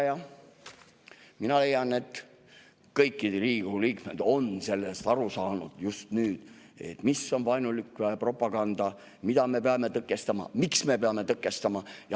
Ja mina leian, et kõik Riigikogu liikmed on just nüüd sellest aru saanud, mis on vaenulik propaganda, mida me peame tõkestama ja miks me peame tõkestama.